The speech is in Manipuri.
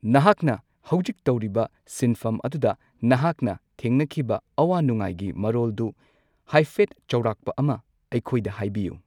ꯅꯍꯥꯛꯅ ꯍꯧꯖꯤꯛ ꯇꯧꯔꯤꯕ ꯁꯤꯟꯐꯝ ꯑꯗꯨꯗ ꯅꯍꯥꯛꯅ ꯊꯦꯡꯅꯈꯤꯕ ꯑꯋꯥ ꯅꯨꯡꯉꯥꯏꯒꯤ ꯃꯔꯣꯜꯗꯨ ꯍꯥꯏꯐꯦꯠ ꯆꯧꯔꯥꯛꯄ ꯑꯃ ꯑꯩꯈꯣꯢꯗ ꯍꯥꯢꯕꯤꯌꯨ